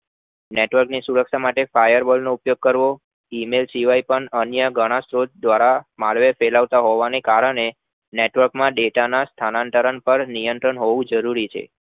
Network ની સુરક્ષા માટે firewall નો ઉપયોગ કરવો email કે અન્ય ઘણો સ્ત્રોત માર્વેલ ફેલાવતા હોવાના કારણે stock ના data સ્થાનાંતરણ હોવું જરૂરી છે